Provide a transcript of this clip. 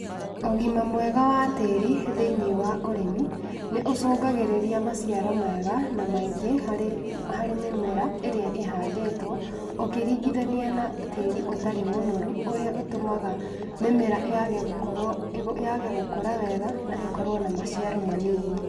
Ũgima mwega wa tĩri thĩiniĩ wa ũrĩmi, nĩ ũcũngagĩrĩria maciaro mega na maingĩ harĩ harĩ mĩmera ĩrĩa ĩhandĩtwo, ũkĩringithania na tĩri ũtarĩ mũnoru ũrĩa ũtũmaga mĩmera yaage gũkorwo yaage gũkũra wega na ĩkorwo na maciaro manini.